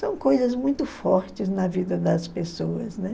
São coisas muito fortes na vida das pessoas, né?